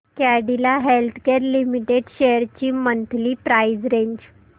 Cadila healthcare limited shares ची monthly price range